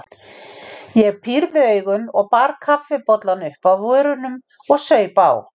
Ég pírði augun og bar kaffibollann upp að vörunum og saup á.